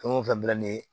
Fɛn o fɛn bila nin ye